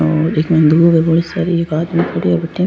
और इतनी दूब है बड़ी सारी एक आदमी खड़े हो बठे।